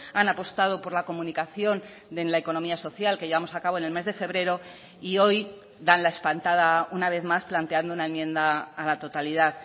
han apostado por la comunicación en la economía social que llevamos a cabo en el mes de febrero y hoy dan la espantada una vez más planteando una enmienda a la totalidad